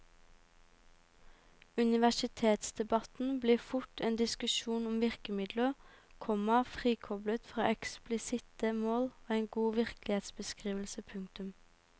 Universitetsdebatten blir fort en diskusjon om virkemidler, komma frikoblet fra eksplisitte mål og en god virkelighetsbeskrivelse. punktum